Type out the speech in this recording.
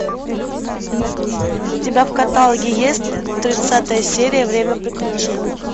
у тебя в каталоге есть тридцатая серия время приключений